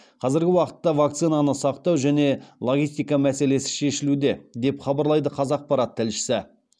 қазіргі уақытта вакцинаны сақтау және логистика мәселесі шешілуде деп хабарлайды қазақпарат тілшісі